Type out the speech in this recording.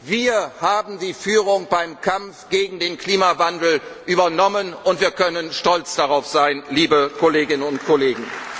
Wir haben die Führung beim Kampf gegen den Klimawandel übernommen, und wir können stolz darauf sein, liebe Kolleginnen und